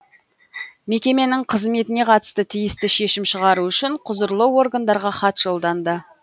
мекеменің қызметіне қатысты тиісті шешім шығару үшін құзырлы органдарға хат жолданды